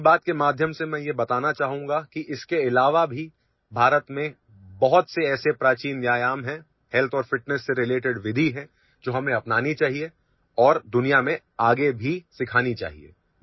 'من کی بات' کے ذریعے میں آپ کو بتانا چاہوں گا کہ اس کے علاوہ ہندوستان میں کئی قدیم ورزشیں اور صحت و تندرستی سے متعلق طریقے ہیں، جنہیں ہمیں دنیا کو آگے بھی اپنانا اور سکھانا چاہیے